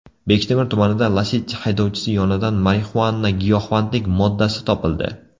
Bektemir tumanida Lacetti haydovchisi yonidan marixuana giyohvandlik moddasi topildi.